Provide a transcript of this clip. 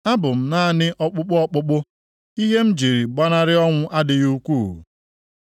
Abụ m naanị ọkpụkpụ ọkpụkpụ; ihe m ji gbanarị ọnwụ adịghị ukwuu.